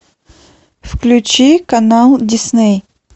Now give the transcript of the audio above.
включи канал дисней